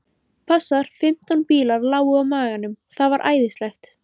Passar. fimmtán bílar lágu á maganum. það var æðislegt.